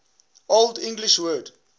old english word